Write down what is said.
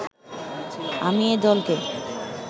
আমি এ দলকে